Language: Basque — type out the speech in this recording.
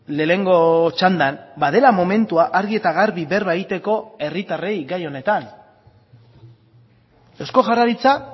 lehenengo txandan badela momentua argi eta garbi berba egiteko herritarrei gai honetan eusko jaurlaritza